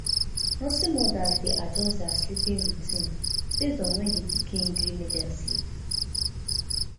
nursing mothers de adjust their sleeping routine based on when di pikin gree make dem sleep